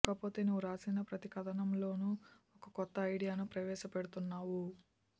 కాకపోతే నీవు రాసిన ప్రతి కథనంలోనూ ఒక కొత్త ఐడియాను ప్రవేశపెడుతున్నావు